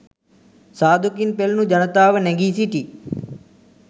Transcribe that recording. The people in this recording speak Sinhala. සාදුකින් පෙළුණු ජනතාව නැඟී සිටි